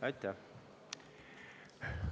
Aitäh!